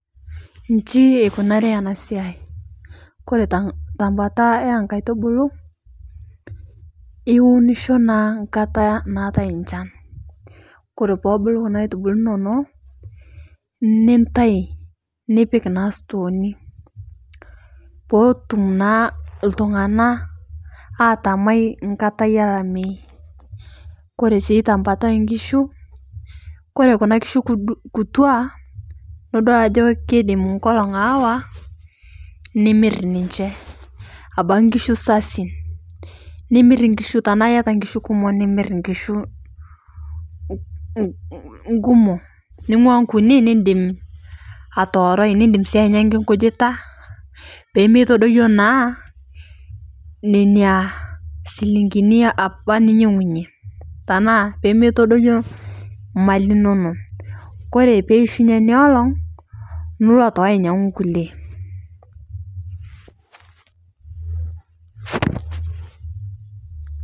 Nishii ekunarii enaa siyai kore tebataa eekatubol iwunisho naa takataa naa natai shaan, kore pobulo kunaa haitubulo inonoo nitai nipik naa storeni potum naa tung'ana atamai tankata elamei, kore sii tabata eekishu kore kuna kishu kutua nudoi ajo keidem nkolong haawa nimer ninche abaki nkishu sasin, nimir nkishu tanaa iyataa nkishu kumoo nimr kishu kumoo nung'ua nkunii nidem atowurai nidem sii anyankii kujitaa peemetodoyuo naa nenia silingini apaa ninyang'unyie tanaa pemeitodoyoo maliii inonoo, kore peishunye niolong niloo atoki anyanguu ngulie.